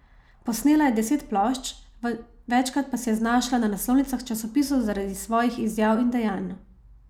Posnela je deset plošč, večkrat pa se je znašla na naslovnicah časopisov zaradi svojih izjav in dejanj.